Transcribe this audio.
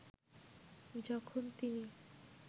যখন তিনি